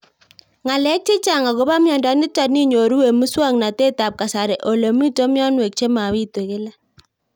Ng'alek chechang' akopo miondo nitok inyoru eng' muswog'natet ab kasari ole mito mianwek che mapitu kila